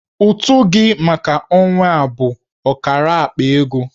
Ụtụ gị maka ọnwa a bụ ọkara akpa ego.